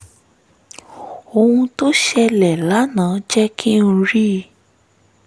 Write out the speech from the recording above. ohun tó ṣẹlẹ̀ lánàá jẹ́ kí n rí